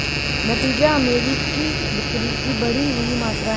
नतीजा अमेरिकी बिक्री की बढ़ी हुई मात्रा है